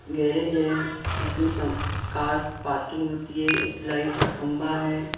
garage है इसमें some car parking होती है एक लाइट का खंबा है --